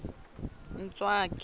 ntswaki